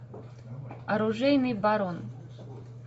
оружейный барон